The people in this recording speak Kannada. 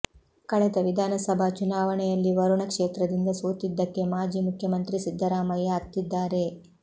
ಕಳೆದ ವಿಧಾನಸಭಾ ಚುನಾವಣೆಯಲ್ಲಿ ವರುಣ ಕ್ಷೇತ್ರದಿಂದ ಸೋತಿದ್ದಕ್ಕೆ ಮಾಜಿ ಮುಖ್ಯಮಂತ್ರಿ ಸಿದ್ದರಾಮಯ್ಯ ಅತ್ತಿದ್ದಾರೆ